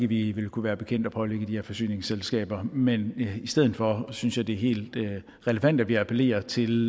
vi vil kunne være bekendt at pålægge de her forsyningsselskaber men i stedet for synes jeg det er helt relevant at vi appellerer til